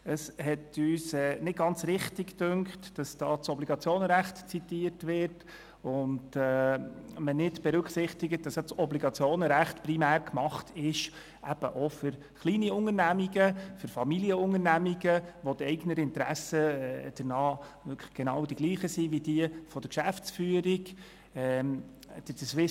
Es schien uns nicht ganz richtig, dass hier das Obligationenrecht (OR) zitiert wird und man nicht berücksichtigt, dass das OR auch für kleine Unternehmen sowie für Familienunternehmen gilt, wo die Eignerinteressen mit denjenigen der Geschäftsführung identisch sind.